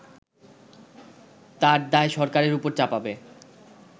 তার দায় সরকারের উপর চাপাবে